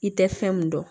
I tɛ fɛn mun dɔn